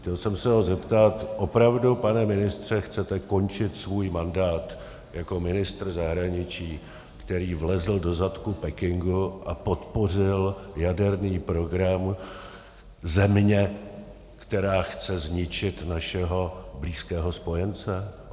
Chtěl jsem se ho zeptat: Opravdu, pane ministře, chcete končit svůj mandát jako ministr zahraničí, který vlezl do zadku Pekingu a podpořil jaderný program země, která chce zničit našeho blízkého spojence?